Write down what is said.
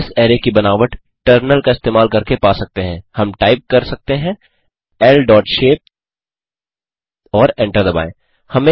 हम इस अरै की बनावट टर्मिनल का इस्तेमाल करके पा सकते हैं हम टाइप कर सकते हैं ल डॉट शेप और एंटर दबाएँ